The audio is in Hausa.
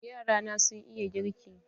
Yara na sun iya girki.